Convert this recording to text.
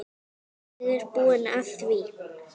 Ég er búinn að því!